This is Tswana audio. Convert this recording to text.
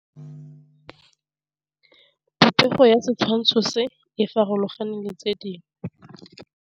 Popêgo ya setshwantshô se, e farologane le tse dingwe.